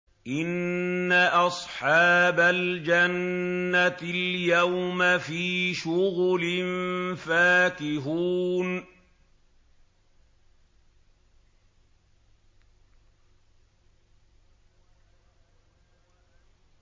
إِنَّ أَصْحَابَ الْجَنَّةِ الْيَوْمَ فِي شُغُلٍ فَاكِهُونَ